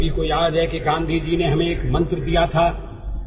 ଆମ ସମସ୍ତଙ୍କର ମନେଅଛି ଯେ ଗାନ୍ଧିଜୀ ଆମକୁ ଗୋଟିଏ ମନ୍ତ୍ର ପ୍ରଦାନ କରିଥିଲେ